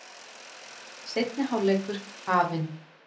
Seinni hálfleikur hafinn